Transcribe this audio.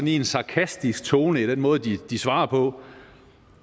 en sarkastisk tone i den måde de de svarer på